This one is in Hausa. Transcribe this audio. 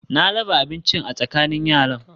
Na raba abincin a tsakanin yaran